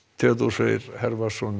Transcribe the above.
Freyr